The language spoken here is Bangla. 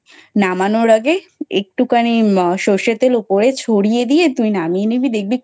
নামানোর আগে একটুখানি সর্ষের তেল ওপরে ছড়িয়ে দিয়ে তুই নামিয়ে নিবি। দেখবি